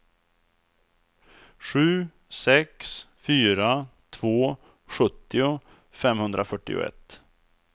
sju sex fyra två sjuttio femhundrafyrtioett